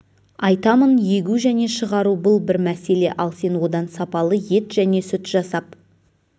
айтамын егу және шығару бұл бір мәселе ал сен одан сапалы ет және сүт жасап